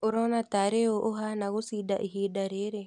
ũrona tarĩ ũũ ũhana gũcinda ihinda rĩrĩ?